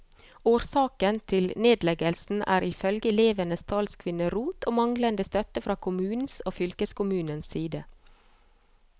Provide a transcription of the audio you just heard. Årsaken til nedleggelsen er i følge elevenes talskvinne rot og manglende støtte fra kommunens og fylkeskommunens side.